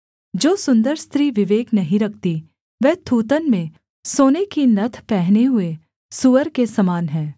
जो सुन्दर स्त्री विवेक नहीं रखती वह थूथन में सोने की नत्थ पहने हुए सूअर के समान है